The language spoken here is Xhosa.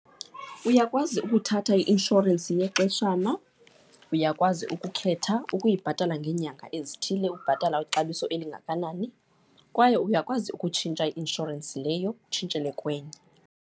Uyakwazi ukuthatha i-inshorensi yexeshana, uyakwazi ukukhetha ukuyibhatala ngeenyanga ezithile, ukubhatala ixabiso elingakanani kwaye uyakwazi ukutshintsha i-nshorensi leyo utshintshele kwenye.